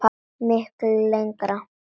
Miklu lengra.